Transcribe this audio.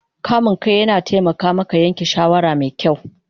Kame kai yana taimaka maka yanke shawara mai kyau